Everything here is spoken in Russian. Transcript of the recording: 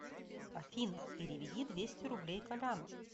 афина переведи двести рублей коляну